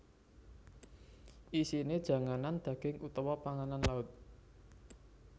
Isine janganan daging utawa panganan laut